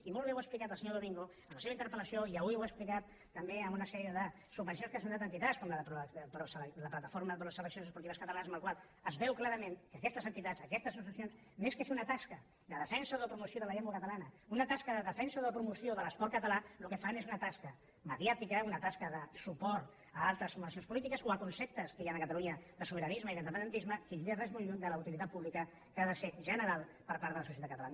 i molt bé ho ha explicat el senyor domingo en la seva interpel·lació i avui ho ha explicat també amb una sèrie de subvencions que s’han donat a entitats com la plataforma pro seleccions esportives catalanes en les quals es veu clarament que aquestes entitats aquestes associacions més que fer una tasca de defensa o de promoció de la llengua catalana una tasca de defensa o de promoció de l’esport català el que fan és una tasca mediàtica una tasca de suport a altres formacions polítiques o a conceptes que hi han a catalunya de sobiranisme i d’independentisme i que és molt lluny de la utilitat pública que ha de ser general per part de la societat catalana